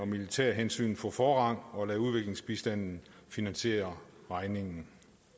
militære hensyn for forrang og lade udviklingsbistanden finansiere regningen